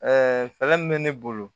fɛɛrɛ min bɛ ne bolo